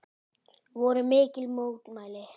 Voru mikil mótmæli?